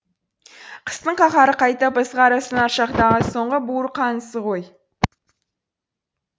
қыстың қаһары қайтып ызғары сынар шақтағы соңғы буырқанысы ғой